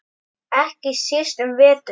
Ekki síst um vetur.